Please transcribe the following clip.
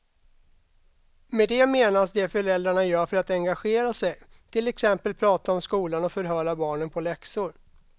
Med det menas det föräldrarna gör för att engagera sig, till exempel prata om skolan och förhöra barnen på läxor.